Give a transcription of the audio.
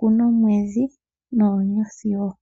omwedhi netango.